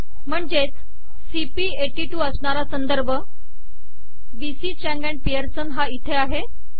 म्हणजेच सीपी82 अश्णारा संदर्भ बी सी चांग आणि पिअर्सन हा इथे आहे